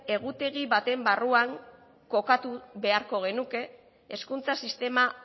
egutegi baten barruan kokatu beharko genuke hezkuntza sistema